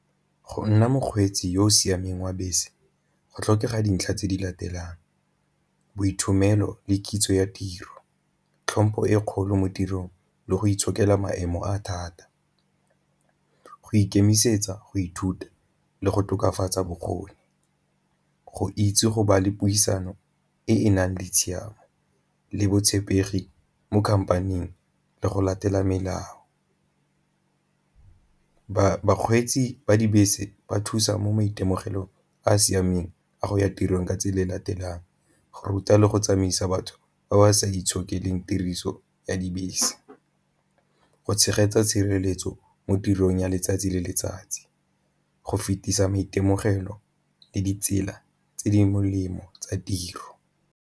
Go nna mokgweetsi yo o siameng wa bese go tlhokega dintlha tse di latelang le kitso ya tiro, tlhompho e kgolo mo tirong le go itshokela maemo a thata, go ikemisetsa go ithuta le go tokafatsa bokgoni, go itse go ba le puisano e e nang le tshiamo le botshepegi mo khampaning le go latela melao. Bakgweetsi ba dibese ba thusa mo maitemogelong a a siameng a go ya tirong ka tsela e latelang ruta le go tsamaisa batho ba ba sa itshokelang tiriso ya dibese, go tshegetsa tshireletso mo tirong ya letsatsi le letsatsi, go fetisa maitemogelo le ditsela tse di molemo tsa tiro.